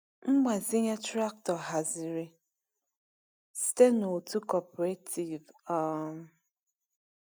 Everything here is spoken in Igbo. Mgbazinye traktọ haziri site n’otu cooperative. um